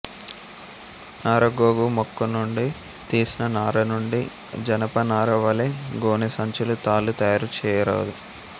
నారగోగు మొక్కనుండి తీసిన నారనుండి జనపనార వలె గోనెసంచులు తాళ్ళు తయారు చేయుదురు